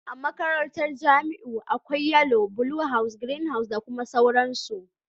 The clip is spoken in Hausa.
A makarantar Jamiu akwai yellow, blue house, green house da dai sauransu.